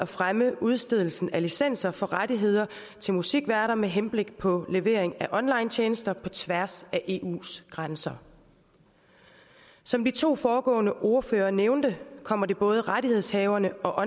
fremme udstedelsen af licenser for rettigheder til musikværter med henblik på levering af onlinetjenester på tværs af eus grænser som de to foregående ordførere nævnte kommer det både rettighedshaverne og